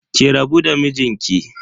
Ki rabu da mijinki.